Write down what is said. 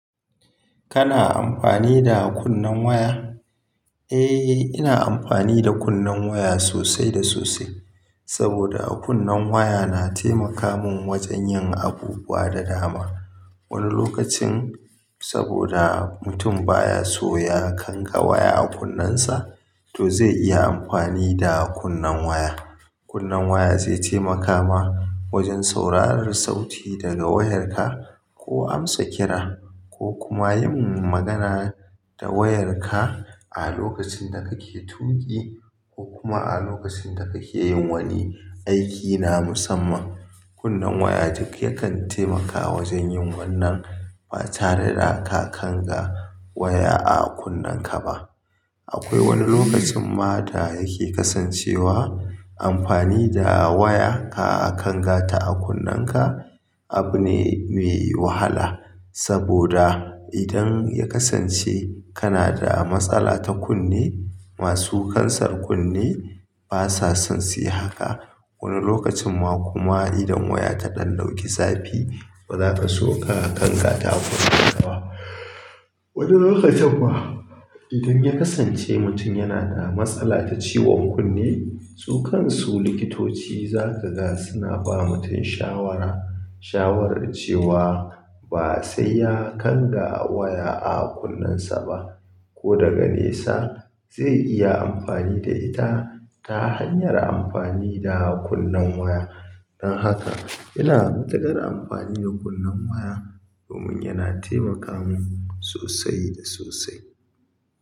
Kana amfani da kunnen waya? Eh, ina amfani da kunnen waya sosai da sosai. Saboda kunnan waya na taimaka mun wajen yin abubuwa da dama. Wani lokacin, saboda mutum baya so ya kanga waya a kunnensa, to zai iya amfani da kunnen waya. Kunnen waya zai taimaka ma wajen sauraron sauti daga wayarka ko amsa kira ko kuma yin magana da wayarka a lokacin da kake tuki ko kuma a lokacin da kake yin wani aiki na musamman. Kunnen waya duk yakan taimaka wajen yin wannan ba tare da ka kanga waya a kunnenka ba. Akwai wani lokacin ma da yake kasancewa amfani da waya ka a kangata a kunnanka abu ne mai wahala. Saboda idan ya kasance kana da matsala ta kunne, masu kansar kunne basa son su yi haka. Wani lokacin ma kuma idan waya ta ɗan dauki zafi, ba zaka so ka kangata a kunnanka ba. Wani lokacin fa idan ya kasance mutum yana da matsala ta ciwon kunne, su kan su likitoci za ka ga suna ba mutum shawara, shawarar cewa ba sai ya kanga waya a kunnensa ba ko daga nesa zai iya amfani da ita ta hanyar amfani da kunnen waya. Don haka ina matukar amfani da kunnen waya domin yana taimaka min sosai da sosai.